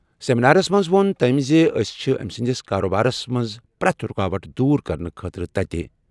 سیمینارَس منٛز ووٚن تٔمۍ زِ أسۍ چھِ أمۍ سٕنٛدِس کارٕبارَس منٛز پرٛٮ۪تھ رُکاوٹ دور کرنہٕ خٲطرٕ تَتہِ۔